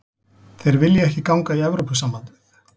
Þeir vilja ekki ganga í Evrópusambandið